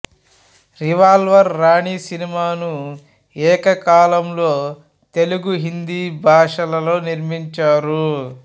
revolver Rani సినిమాను ఏకకాలంలో తెలుగు హిందీ భాషలలో నిర్మించారు